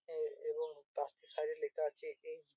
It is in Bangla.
এ এবং বাস টির সাইড -এ লেখা আছে এইচ ।